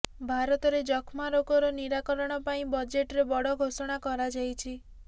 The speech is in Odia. ଭାରତରେ ଯକ୍ଷ୍ମା ରୋଗର ନିରାକରଣ ପାଇଁ ବଜେଟରେ ବଡ଼ ଘୋଷଣା କରାଯାଇଛି